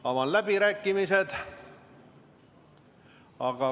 Avan läbirääkimised.